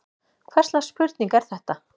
Hvers slags spurning er þetta!